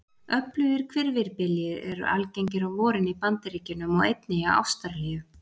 Öflugir hvirfilbyljir eru algengir á vorin í Bandaríkjunum og einnig í Ástralíu.